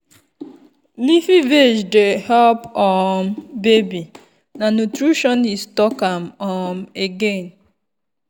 leafy veg dey help um baby na nutritionist talk am um again.